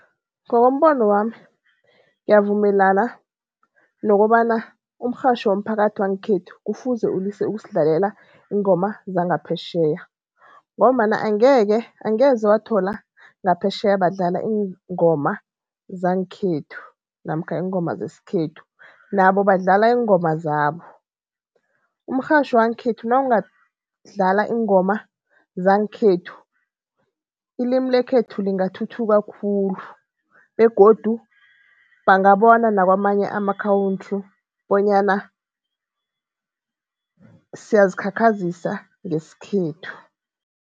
Ngokombono wami, ngiyavumelana nokobana umrhatjho womphakathi wangekhethu kufuze ulise ukusidlalela iingoma zangaphetjheya ngombana angeke, angeze wathola ngaphetjheya badlala iingoma zangekhethu namkha iingoma zesikhethu nabo badlala iingoma zabo. Umrhatjho wangekhethu nawungadlala iingoma zangekhethu, ilimi lekhethu lingathuthuka khulu begodu bangabona nakwamanye amakhawuntru bonyana siyazikhakhazisa ngesikhethu.